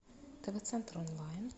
тв центр онлайн